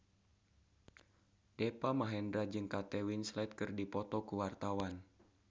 Deva Mahendra jeung Kate Winslet keur dipoto ku wartawan